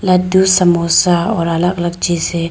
लड्डू समोसा और अलग अलग चीजें --